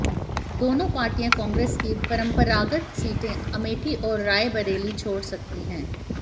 दोनों पार्टियां कांग्रेस की परंपरागत सीटें अमेठी और रायबरेली छोड़ सकती है